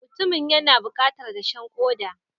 Mutumin yana bukatar dashen koda.